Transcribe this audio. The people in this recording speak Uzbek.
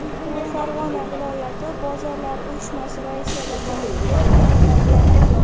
U Farg‘ona viloyati bozorlar uyushmasi raisi lavozimiga tayinlangan.